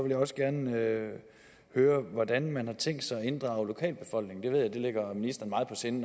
jeg også gerne høre høre hvordan man har tænkt sig at inddrage lokalbefolkningen jeg ved det ligger ministeren meget på sinde